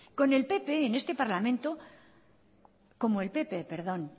como el pp